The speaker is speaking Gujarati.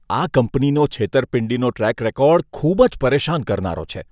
આ કંપનીનો છેતરપિંડીનો ટ્રેક રેકોર્ડ ખૂબ જ પરેશાન કરનારો છે.